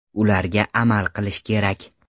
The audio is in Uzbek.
Ularga amal qilish kerak.